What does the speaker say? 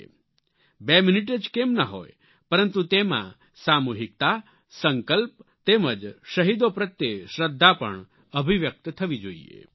2 minute જ કેમ ન હોય પરંતુ તેમાં સામૂહિકતા સંકલ્પ તેમજ શહીદો પ્રત્યે શ્રદ્ધા પણ અભિવ્યક્ત થવી જોઈએ